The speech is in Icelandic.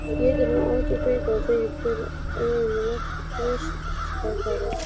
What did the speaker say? Étur hann átján bita og þykir hver öðrum lostætari.